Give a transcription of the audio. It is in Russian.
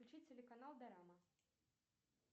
включи телеканал дорама